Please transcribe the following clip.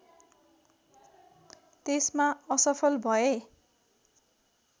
त्यसमा असफल भए